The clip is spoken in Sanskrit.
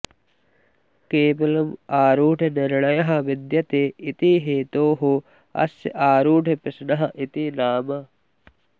केवलं आरूढनिर्णयः विद्यते इति हेतोः अस्य आरूढप्रश्नः इति नाम